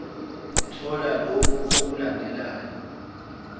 uthola lokhu okulandelayo